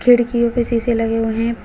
खिड़कियों पे शीशे लगे हुए हैं।